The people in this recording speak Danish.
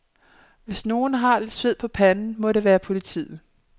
Hvis nogen har lidt sved på panden, må det være politiet.